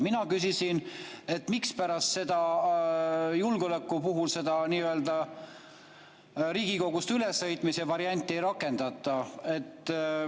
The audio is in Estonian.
Mina küsisin, mispärast julgeoleku puhul Riigikogust ülesõitmise varianti ei rakendata.